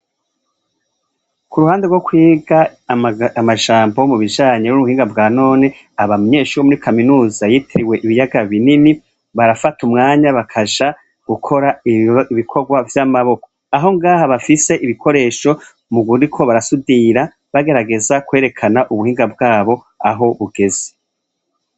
Ku ruhande rwo kwiga amajambo mu bijanye n'ubuhinga bwa none, abanyeshure bo muri kaminuza yitiriwe ibiyaga binini, barafata umwanya bakaja gukora ibikorwa vy'amaboko, aho ngaha bafise ibikoresho bariko barasudira bagerageza kwerekana ubuhinga bwabo aho bugeze.